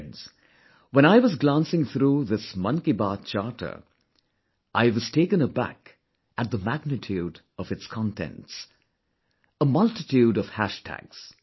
Friends, when I was glancing through this 'Mann Ki Baat Charter', I was taken aback at the magnitude of its contents... a multitude of hash tags